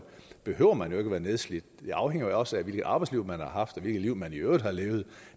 behøver man jo ikke at være nedslidt det afhænger jo også af hvilket arbejdsliv man har haft og hvilket liv man i øvrigt har levet